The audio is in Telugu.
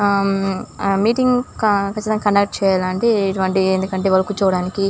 ఆ ఆ మీటింగ్స్ కండక్ట్ చేయడానికి ఇటువంటివి ఎందుకంటే వాళ్లు కూర్చోవడానికి.